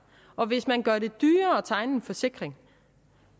og hvis man gør det dyrere at tegne en forsikring